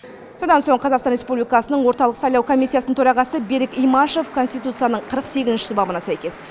содан соң қазақстан республикасының орталық сайлау комиссиясының төрағасы берік имашев конституцияның қырық сегізінші бабына сәйкес